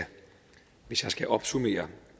hvis jeg skal opsummere